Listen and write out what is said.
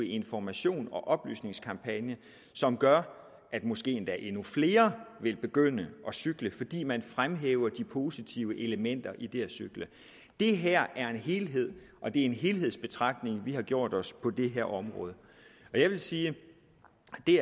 information og oplysningskampagner som gør at måske endda endnu flere vil begynde at cykle fordi man fremhæver de positive elementer i det at cykle det her er en helhed og det er en helhedsbetragtning vi har gjort os på det her område jeg vil sige at det